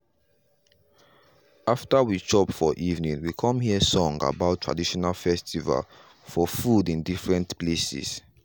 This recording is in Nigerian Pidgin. after we chop for evening we come hear song about traditional festival for food in different places.